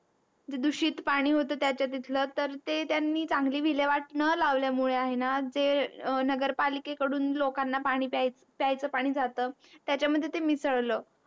दुषित पाणी होत त्यांच्या तिथलं तर ते त्यांनी चांगली विल्यवाट न लावल्या मुळे आहे न ते नगरपालिके कडून लोकांना पाणी प्यायचं पाणी जात त्याच्या मध्ये ते मिसळलं